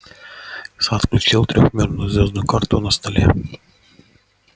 сатт включил трёхмерную звёздную карту на столе